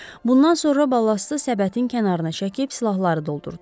Bundan sonra balastı səbətin kənarına çəkib silahları doldurdular.